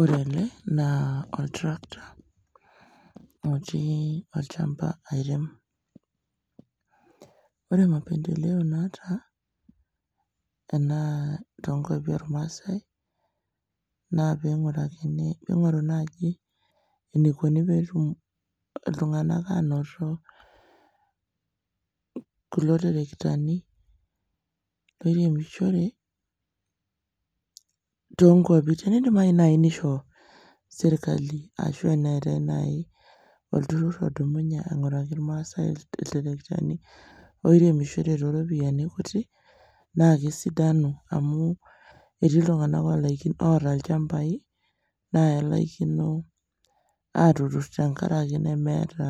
Ore ele naa oltrakta otii olchamba airem. Ore mapendeleo naata ena toonkuapi olmaasai naa peing'orakini, peingoru naji eneikoni peetum iltung'anak aanoto kulo terektani peiremishore toonkuapi teneidimayu nai neisho sirkali ashu eneetai nai olturrur odumunye aing'oraki ilmaasai ilterektani oiremishore toropiani kuti naakesidanu amuu etii iltung'ana olaikino, oata ilchambai naa elaikino aatuturr tengaraki nemeeta,